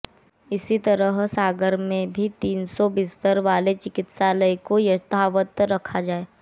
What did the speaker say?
इसी तरह सागर में भी तीन सौ बिस्तर वाले चिकित्सालय को यथावत रखा जाए